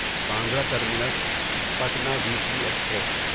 Bandra terminus Patna weekly express